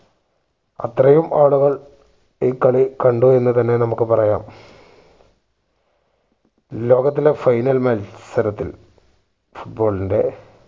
അത്രയും ആളുകൾ ഈ കളി കണ്ടു എന്ന് തന്നെ നമുക്ക് പറയാം. ലോകത്തിലെ final മത്സരത്തിൽ foot ball ന്റെ